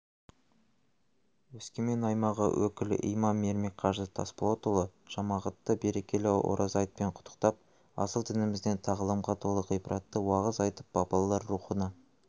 өскемен аймағы өкіл имамы ермек қажы тасболатұлы жамағатты берекелі ораза айтпен құттықтап асыл дінімізден тағылымға толы ғибратты уағыз айтып бабалар рухына